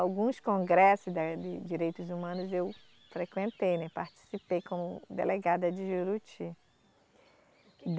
Alguns congressos da de direitos humanos eu frequentei, né, participei como delegada de Juruti.